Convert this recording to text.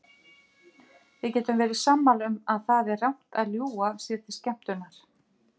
Við getum verið sammála um að það er rangt að ljúga sér til skemmtunar.